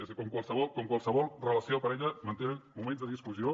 és que com en qualsevol relació de parella mantenen moments de discussió